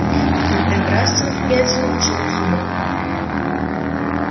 он первый раз самостоятельно вошёл в сумрак